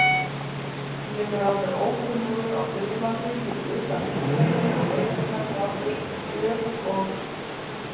Ég er alveg ókunnugur á Suðurlandi fyrir utan Hringveginn og leiðirnar norður um Kjöl og